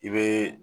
I bɛ